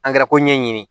Angɛrɛ ko ɲɛɲini